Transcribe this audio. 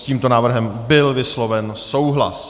S tímto návrhem byl vysloven souhlas.